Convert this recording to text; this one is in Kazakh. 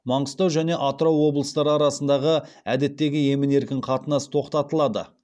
маңғыстау және атырау облыстары арасындағы әдеттегі емін еркін қатынас тоқтатылады